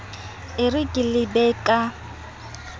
e re ke lebe ka